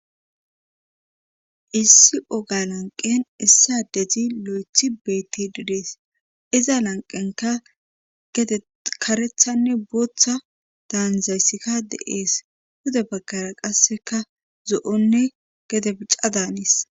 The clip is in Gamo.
issi oga lanqen issa dezi lo7ethi beetti didees iza lanqenka gede karethanne booththa daanzaysika de ees huda baggara qasseka zo7onne gede bica daanis